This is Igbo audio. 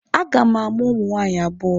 A ga m amụ ụmụ nwaanyị abụọ.